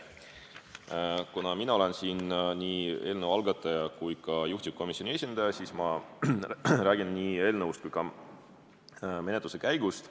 Kuna mina olen siin nii eelnõu algataja kui ka juhtivkomisjoni esindaja, siis ma räägin nii eelnõust kui ka menetluse käigust.